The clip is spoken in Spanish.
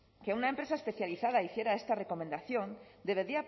que una empresa especializada hiciera esta recomendación debería